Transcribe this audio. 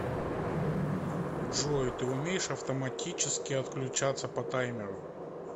джой ты умеешь автоматически отключаться по таймеру